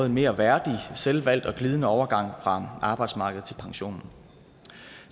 en mere værdig selvvalgt og glidende overgang fra arbejdsmarkedet til pensionen